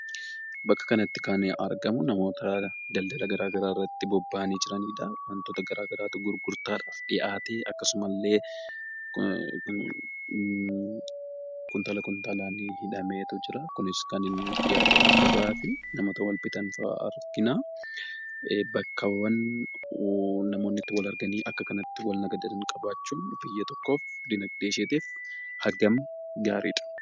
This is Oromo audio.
Akka kanatti kan argamu namoota daldala garaagaraa irratti bobba'anii jiraniidha. Wantoota garaagaraatu gurgurtaadhaaf dhiyaate akkasumallee kuntaala kuntaalaan hidhamee jira. Kunis kan inni dhiyaatee jiru gabaafi. Namoota bibbitan fa'aa argina. Bakkaawwan namoonni itti wal arganii fi akka kanatti itti walitti nagadan qabaachuun biyya tokkoof guddina dinagdee isheetiif hagam gaariidha?